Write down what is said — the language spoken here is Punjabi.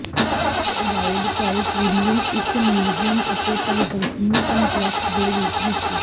ਇੱਕ ਅਜਾਇਬਘਰ ਕ੍ਰਿਮਲਿਨ ਇੱਕ ਮਿਊਜ਼ੀਅਮ ਅਤੇ ਪ੍ਰਦਰਸ਼ਨੀ ਕੰਪਲੈਕਸ ਦੇ ਰੂਪ ਵਿੱਚ